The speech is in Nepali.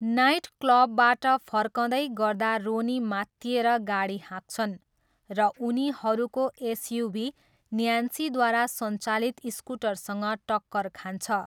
नाइटक्लबबाट फर्कँदै गर्दा रोनी मात्तिएर गाडी हाँक्छन् र उनीहरूको एसयुभी न्यान्सीद्वारा सञ्चालित स्कुटरसँग टक्कर खान्छ।